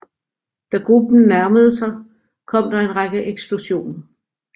Da gruppen nærmede sig kom der en række eksplosioner